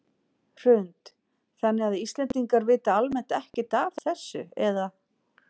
Hrund: Þannig að Íslendingar vita almennt ekkert af þessu eða?